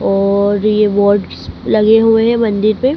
और ये वर्ड्स लगे हुए हैं मंदिर पे।